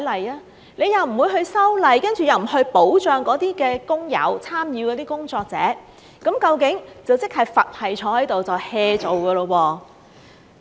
政府又不修例，又不保障那些工友、參與的工作者，佛系地坐在那裏 "hea 做"。